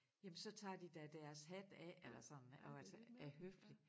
Jamen så tager de da deres hat af eller sådan og altså er høflige